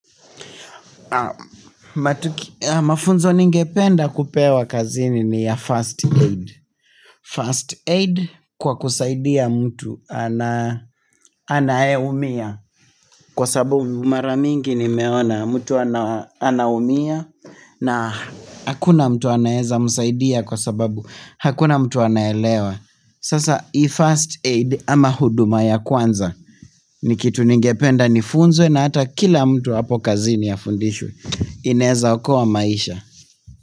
Mafunzo ningependa kupewa kazini ni ya first aid First aid kwa kusaidia mtu anayeumia Kwa sababu mara mingi nimeona mtu anaumia na hakuna mtu anaeza msaidia kwa sababu hakuna mtu anaelewa Sasa hii first aid ama huduma ya kwanza Nikitu ningependa nifunzwe na hata kila mtu hapo kazini afundishwe inaeza okoa maisha.